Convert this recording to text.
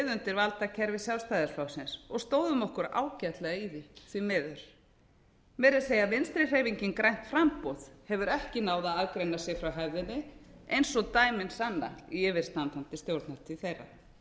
undir valdakerfi sjálfstæðisflokksins og stóðum okkur ágætlega í því því miður meira að segja vinstri hreyfingin fært framboð hefur ekki náð að aðgreina sig frá hefðinni eins og dæmin sanna í yfirstandandi stjórnartíð þeirra